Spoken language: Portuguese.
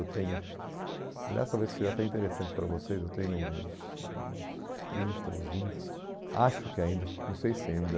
Eu tenho, aliás, talvez isso seja até interessante para vocês, eu tenho uns uns trinta, uns vinte, acho que ainda, não sei se ainda...